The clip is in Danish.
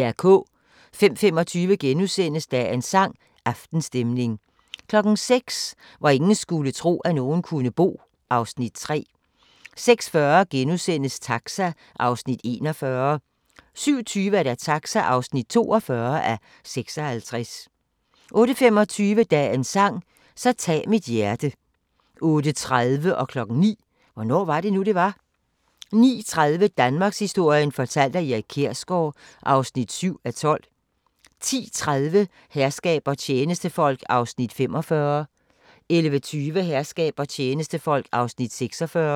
05:25: Dagens sang: Aftenstemning * 06:00: Hvor ingen skulle tro, at nogen kunne bo (Afs. 3) 06:40: Taxa (41:56)* 07:20: Taxa (42:56) 08:25: Dagens sang: Så tag mit hjerte 08:30: Hvornår var det nu, det var? 09:00: Hvornår var det nu, det var? 09:30: Danmarkshistorien fortalt af Erik Kjersgaard (7:12) 10:30: Herskab og tjenestefolk (45:68) 11:20: Herskab og tjenestefolk (46:68)